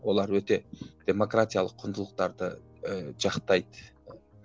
олар өте демократиялық құндылықтарды ыыы жақтайды